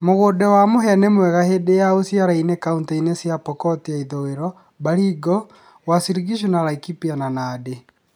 Mũgũnda wa mũhĩa nĩ mwega hĩndĩ ya ũciarainĩ kauntĩ-inĩ cia Pokot ya ithuĩro, Baringo, Uasin Gishu, Laikipia na Nandi.